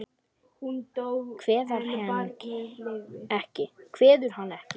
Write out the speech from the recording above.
Kveður hann ekki.